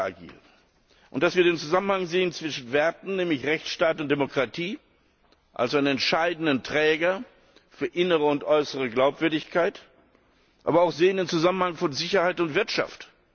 agieren, und wir sehen den Zusammenhang zwischen Werten, nämlich Rechtsstaat und Demokratie, also einem entscheidenden Träger für innere und äußere Glaubwürdigkeit, aber auch den Zusammenhang von Sicherheit und Wirtschaft.